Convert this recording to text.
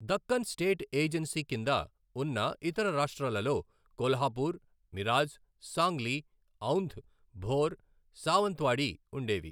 Deccan state agency కింద ఉన్న ఇతర రాష్ట్రాలలో కొల్హాపూర్, మిరాజ్, సాంగ్లీ, ఔంధ్, భోర్, సావంత్వాడి ఉండేవి.